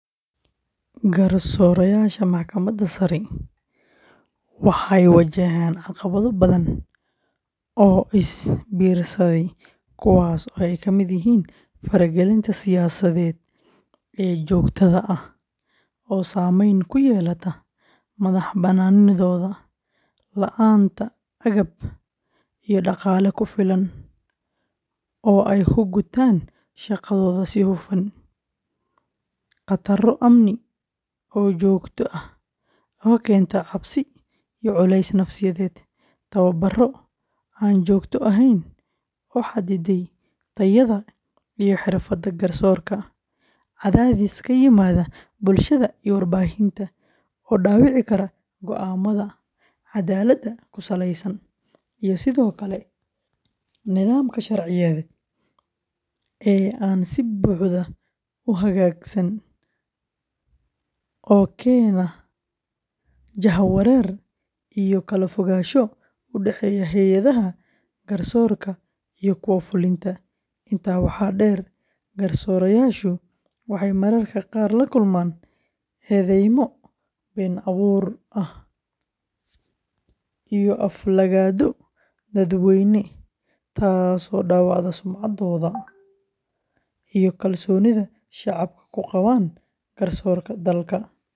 Garsoorayaasha Maxkamadda Sare waxay wajahaan caqabado badan oo is biirsaday kuwaas oo ay ka mid yihiin faragelinta siyaasadeed ee joogtada ah oo saameyn ku yeelata madax-bannaanidooda, la'aanta agab iyo dhaqaale ku filan oo ay ku gutaan shaqadooda si hufan, khataro amni oo joogto ah oo keenta cabsi iyo culays nafsiyeed, tababarro aan joogto ahayn oo xadidaya tayada iyo xirfadda garsoorka, cadaadis ka yimaada bulshada iyo warbaahinta oo dhaawici kara go'aamada cadaaladda ku saleysan, iyo sidoo kale nidaamka sharciyeed ee aan si buuxda u hagaagsan oo keena jahawareer iyo kala fogaansho u dhaxeeya hay’adaha garsoorka iyo kuwa fulinta. Intaa waxaa dheer, garsoorayaashu waxay mararka qaar la kulmaan eedeymo been abuur ah iyo aflagaado dadweyne taasoo dhaawacda sumcaddooda iyo kalsoonida shacabka ku qabaan garsoorka dalka.